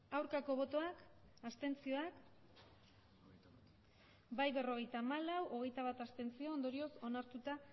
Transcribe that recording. aurkako botoak abstenzioak emandako botoak hirurogeita hamabost bai berrogeita hamalau abstentzioak hogeita bat ondorioz onartuta